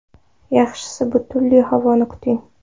Yaxshisi bulutli havoni kuting.